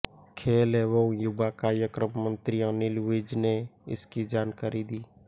खेल एवं युवा कार्यक्रम मंत्री अनिल विज ने इसकी जानकारी दी